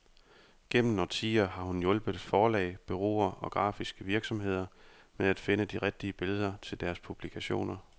Gennem årtier har hun hjulpet forlag, bureauer og grafiske virksomheder med at finde de rigtige billeder til deres publikationer.